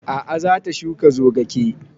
A'a za ta shuka zogake